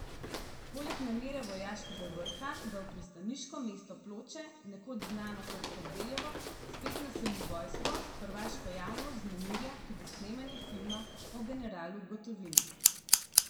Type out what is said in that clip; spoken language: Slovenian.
Poleg namere vojaškega vrha, da v pristaniško mesto Ploče, nekoč znano kot Kardeljevo, spet naseli vojsko, hrvaško javnost vznemirja tudi snemanje filma o generalu Gotovini.